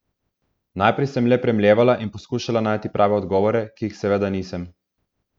Najprej sem le premlevala in poskušala najti prave odgovore, ki jih seveda nisem.